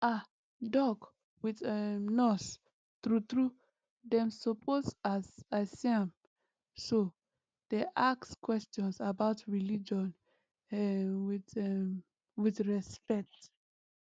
ah doc with um nurse true true dem suppose as i see am so dey ask questions about religion um with um with respect